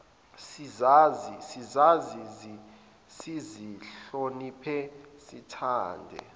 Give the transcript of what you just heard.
sizazi sizihloniphe sithande